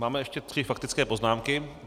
Máme ještě tři faktické poznámky.